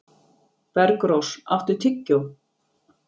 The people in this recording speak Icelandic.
Bergrós, áttu tyggjó?